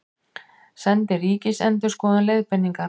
Sendi Ríkisendurskoðun leiðbeiningar